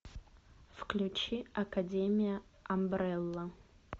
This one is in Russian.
включи академия амбрелла